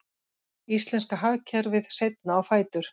Íslenska hagkerfið seinna á fætur